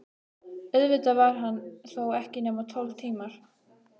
Auðvitað var hann þó ekki nema tólf tímar.